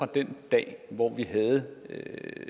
den dag hvor vi havde